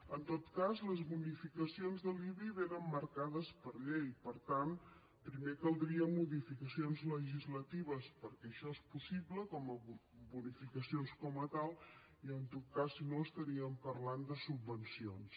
en tot cas les bonificacions de l’ibi vénen marcades per llei per tant primer caldrien modificacions legislatives perquè això és possible com a bonificacions com a tals i en tot cas si no estaríem parlant de subvencions